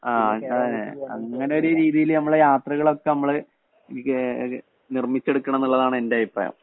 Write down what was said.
ആ അങ്ങനെഅങ്ങനെ ഒരു രീതിയില്‍ യാത്രകളൊക്കെ നമ്മള്നിര്‍മ്മിച്ചെടുക്കണം എന്നുള്ളതാണ് എന്‍റെ അഭിപ്രായം.